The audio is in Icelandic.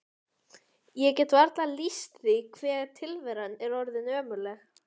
Ég get varla lýst því hve tilveran er orðin ömurleg.